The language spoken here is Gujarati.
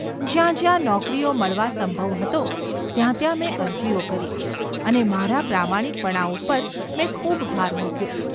જ્યાં જ્યાં નોકરીઓ મળવા સંભવ હતો ત્યાં ત્યાં મેં અરજીઓ કરી અને મારા પ્રામાણિકપણા ઉપર મેં ખૂબ ભાર મૂક્યો.